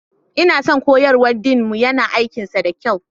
Ina son koyarwar Dean mu, yana yin aikinsa da kyau.